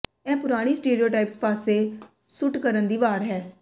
ਇਹ ਪੁਰਾਣੀ ਸਟੇਰੀਓਟਾਈਪਸ ਪਾਸੇ ਸੁੱਟ ਕਰਨ ਦੀ ਵਾਰ ਹੈ